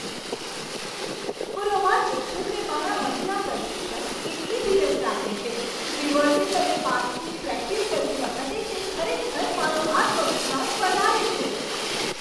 હું રોમાંચિત છું કે મારાં મહિલા પ્રશિક્ષક એટલી ધીરજ રાખે છે, રિવર્સિંગ અને પાર્કિંગની પ્રેક્ટિસ કરતી વખતે તે ખરેખર મારો આત્મવિશ્વાસ વધારે છે.